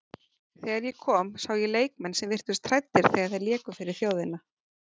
Þegar ég kom sá ég leikmenn sem virtust hræddir þegar þeir léku fyrir þjóðina.